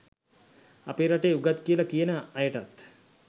අපේ රටේ උගත් කියල කියන අයටත්